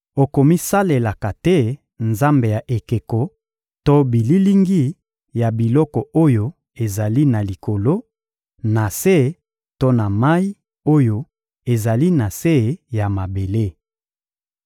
Okomisalelaka te nzambe ya ekeko to bililingi ya biloko oyo ezali na likolo, na se to na mayi oyo ezali na se ya mabele.